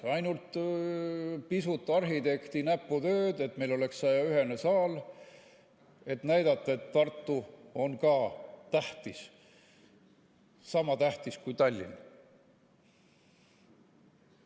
Ainult pisut arhitekti näputööd, et meil oleks 101‑kohane saal, et näidata, et Tartu on ka tähtis, sama tähtis kui Tallinn.